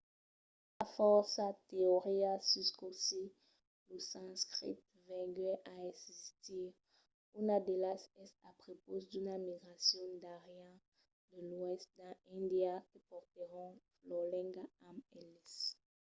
i a fòrça teorias sus cossí lo sanscrit venguèt a existir. una d'elas es a prepaus d'una migracion d'arians de l'oèst dins índia que portèron lor lenga amb eles